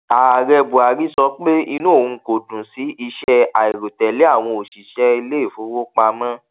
ààrẹ buhari sọ pé inú òun kò dùn sí iṣẹ àìròtẹlẹ àwọn òṣìṣẹ iléìfowópamọ